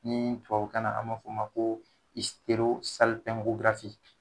Ni tubabukan na an b'a f'o ma ko